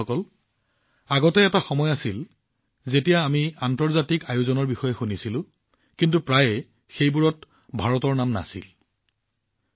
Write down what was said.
বন্ধুসকল আগতে এটা সময় আছিল যেতিয়া আমি আন্তঃৰাষ্ট্ৰীয় অনুষ্ঠানৰ বিষয়ে জানিছিলো কিন্তু সেইবোৰত প্ৰায়ে ভাৰতৰ কোনো উল্লেখ নাছিল